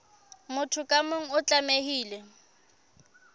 motho ka mong o tlamehile